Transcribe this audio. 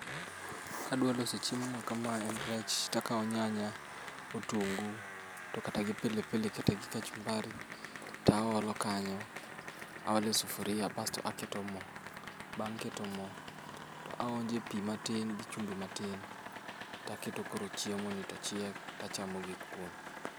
Kadwa loso chiemo ma kamae en rech takaw nyanya, otungu, to kata gi pilipili kata gi kachumbari, taolo kanyo. Aole sufuria basto aketo moo. Bang' keto moo, to aonje pii matin gi chumbi matin. Taketo koro chiemo ni tochiek, tachamo gi kuon